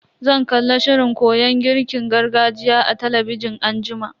Zan kalla shirin koyon girkin gargajiya a talabijin anjima.